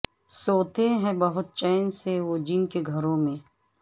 سوتے ہیں بہت چین سے وہ جن کے گھروں میں